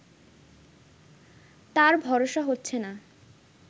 তার ভরসা হচ্ছে না